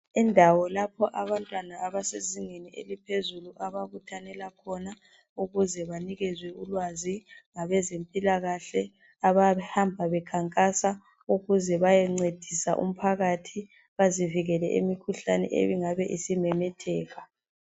Indawo lapho abantwana abasezingeni eliphezulu ababuthanela khona ukuze banikezwe ulwazi ngabezempilakahle abahamba bekhankasa ukuze bayencedisa umphakathi bazivikele kumikhuhlane engabe isimemetheka.